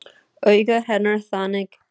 Augu hennar þannig.